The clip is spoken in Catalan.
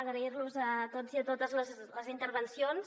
agrair·los a tots i a totes les intervencions